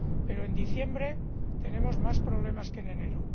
Pero en diciembre tenemos más problemas que en enero